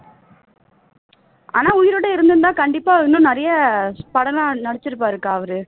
ஆனால் உயிரோடு இருந்திருந்தால் கண்டிப்பா நிறைய படம் எல்லாம் நடிச்சிருப்பாருக்கா அவர்